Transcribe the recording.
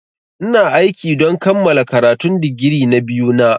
Ina aiki don kammala karatun digiri na biyu na.